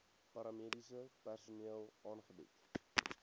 paramediese personeel aangebied